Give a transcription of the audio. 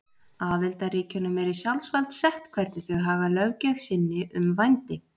Aðildarríkjunum er í sjálfsvald sett hvernig þau haga löggjöf sinni um vændi.